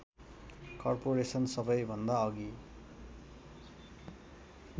corporation सबैभन्दा अघि